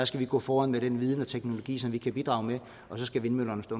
skal vi gå foran med den viden og teknologi som vi kan bidrage med og så skal vindmøllerne stå